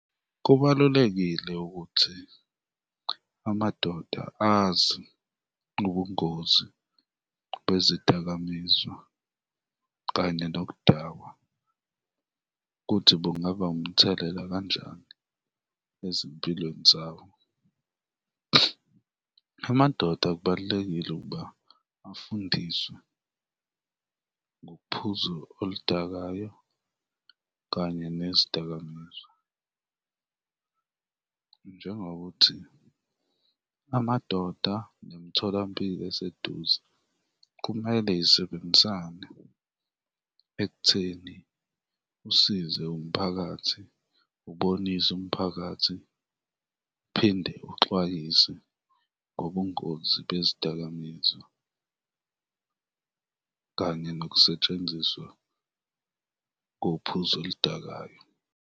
Kubalulekile ukuthi amadoda azi ubungozi bezidakamizwa kanye nokudakwa kuthi bungaba umthelela kanjani ezimpilweni zabo. Amadoda kubalulekile ukuba afundiswe ngophuzo oludakayo kanye nezidakamizwa, njengokuthi amadoda nemitholampilo eseduze kumele zisebenzisane ekutheni usize umphakathi, ubonise umphakathi uphinde uxwayise ngobungozi bezidakamizwa kanye nokusetshenziswa kophuzo oludakayo.